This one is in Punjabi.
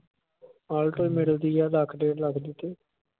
alto ਮਿਲਣ ਦੀ ਆ ਲੱਖ ਡੇਢ ਲੱਖ ਦੀ ਤੇ